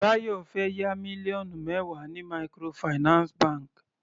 Bayo fẹ́ yá mílíọ̀nù mẹwa ní microfinance bank.